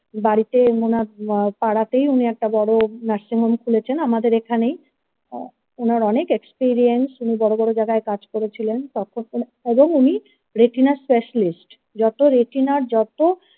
বাড়িতে ওনার পাড়াতেই উনি একটা বড় নার্সিংহোম খুলেছেন আমাদের এখানেই হ্যাঁ ওনার অনেক experience উনি বড় বড় জায়গায় কাজ করেছিলেন তখন এবং উনি retina specialist যত রেটিনার যত।